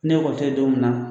Ni ekɔli tɛ yen don min na